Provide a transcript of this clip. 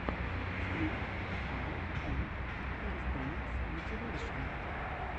стрит векаут энд кэлистэникс мотивэйшен